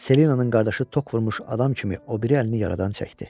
Selinanın qardaşı tok vurmuş adam kimi o biri əlini yaradan çəkdi.